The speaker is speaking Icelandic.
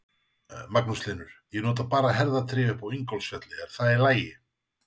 Magnús Hlynur: Ég nota bara herðatré upp í Ingólfsfjalli, er það í lagi?